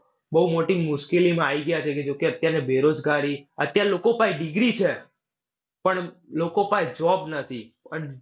બૌ મોટી મુશ્કલીમાં આઇ ગયા છે. જોકે અત્યારે બેરોજગારી, અત્યારે લોકો પાસે degree છે પણ લોકો પાએ job નથી.